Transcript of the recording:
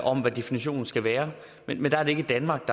om hvad definitionen skal være men men der er det ikke danmark